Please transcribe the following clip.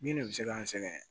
Min de bɛ se k'an sɛgɛn